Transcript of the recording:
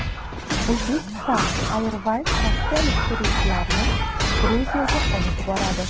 Uzbekistan Airways rossiyalik turistlarni Gruziyaga olib boradi.